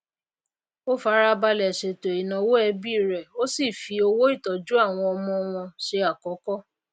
o farabalè sètò ìnáwó ẹbí rè ó sì fi owó ìtójú àwọn ọmọ wọn se àkókó